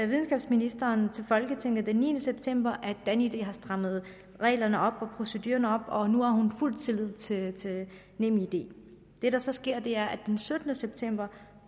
videnskabsministeren til folketinget den niende september at danid har strammet reglerne og procedurerne op og nu har fuld tillid til nemid det der så sker er at der den syttende september